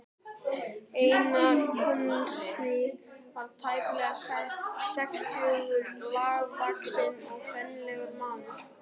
Einar konsúll var tæplega sextugur, lágvaxinn og fínlegur maður.